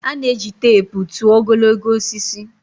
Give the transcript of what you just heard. A na-eji teepu tụọ ogologo osisi